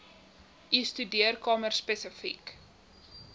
u studeerkamer spesifiek